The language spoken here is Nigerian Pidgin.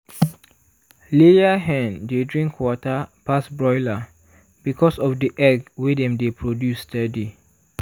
layer hen dey drink water pass broiler because of the egg wey dem dey produce steady.